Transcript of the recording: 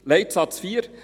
Leitsatz 4: